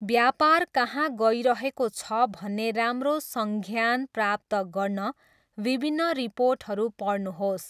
व्यापार कहाँ गइरहेको छ भन्ने राम्रो संज्ञान प्राप्त गर्न विभिन्न रिपोर्टहरू पढ्नुहोस्।